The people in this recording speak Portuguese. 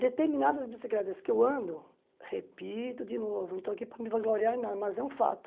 Determinadas bicicletas que eu ando, repito de novo, não estou aqui para me vangloriar em nada, mas é um fato.